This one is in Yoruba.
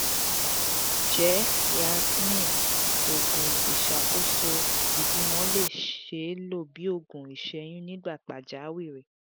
njẹ yasmin oogun iṣakoso ibimọ le ṣee lo bi oogun iseyun ni gba pajawiri?